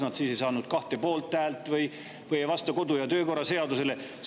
Need siis ei saanud kahte poolthäält või ei vasta kodu- ja töökorra seadusele.